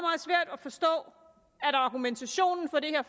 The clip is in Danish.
svært at forstå at argumentationen for det her